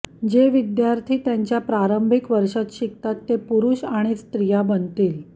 जे विद्यार्थी त्यांच्या प्रारंभिक वर्षांत शिकतात ते पुरुष आणि स्त्रिया बनतील